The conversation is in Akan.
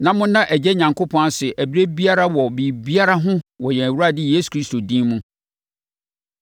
na monna Agya Onyankopɔn ase ɛberɛ biara wɔ biribiara ho wɔ yɛn Awurade Yesu Kristo din mu.